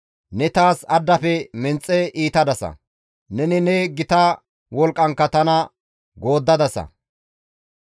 Ne taas addafe menxe iitadasa; neni ne gita wolqqankka tana gooddadasa.